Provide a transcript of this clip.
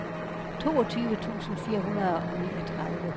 toogtyve tusind fire hundrede og niogtredive